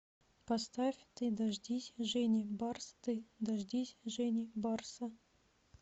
поставь ты дождись жени барс ты дождись жени барса